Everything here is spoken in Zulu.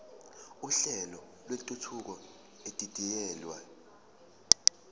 uhlelo lwentuthuko edidiyelwe